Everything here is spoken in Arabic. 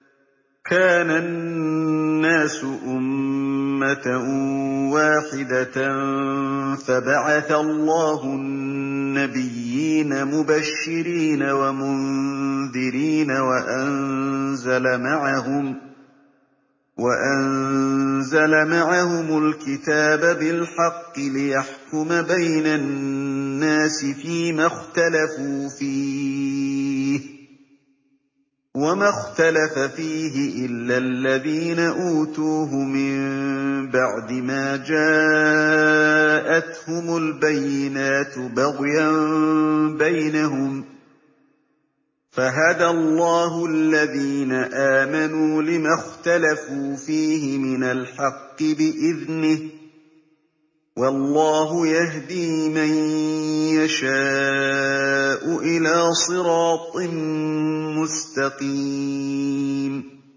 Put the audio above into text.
كَانَ النَّاسُ أُمَّةً وَاحِدَةً فَبَعَثَ اللَّهُ النَّبِيِّينَ مُبَشِّرِينَ وَمُنذِرِينَ وَأَنزَلَ مَعَهُمُ الْكِتَابَ بِالْحَقِّ لِيَحْكُمَ بَيْنَ النَّاسِ فِيمَا اخْتَلَفُوا فِيهِ ۚ وَمَا اخْتَلَفَ فِيهِ إِلَّا الَّذِينَ أُوتُوهُ مِن بَعْدِ مَا جَاءَتْهُمُ الْبَيِّنَاتُ بَغْيًا بَيْنَهُمْ ۖ فَهَدَى اللَّهُ الَّذِينَ آمَنُوا لِمَا اخْتَلَفُوا فِيهِ مِنَ الْحَقِّ بِإِذْنِهِ ۗ وَاللَّهُ يَهْدِي مَن يَشَاءُ إِلَىٰ صِرَاطٍ مُّسْتَقِيمٍ